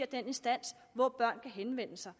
den instans hvor børn kan henvende sig